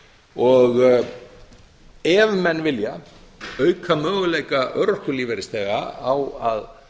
betur ef menn vilja auka möguleika örorkulífeyrisþega á að